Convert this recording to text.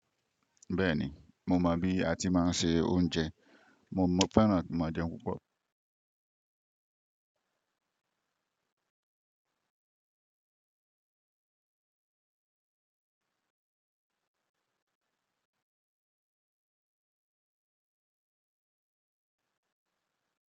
Bẹ́ẹ̀ni, mo mọ bí a ti máa ń se oúnjẹ. Mo fẹ́ràn kin máa jẹun púpọ̀.